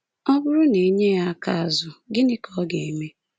Ọ bụrụ na e nye ya aka azụ, gịnị ka ọ ga-eme?